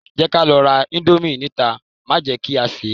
Jẹ́ ká lọ ra íńdómì níta má jẹ kí a sè é.